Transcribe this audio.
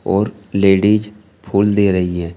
और लेडीज फूल दे रही हैं।